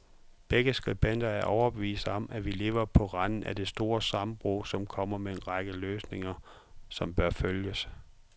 Begge skribenter er overbevist om, at vi lever på randen af det store sammenbrud, og kommer med en række løsninger, som bør følges.